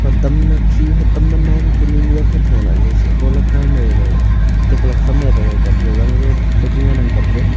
hotam ma khi hotam ma nan ka ni hakhat tholah ley shiko laka am mey ley tiklak sam metlekap zangjob ley ku ngan ang kapley.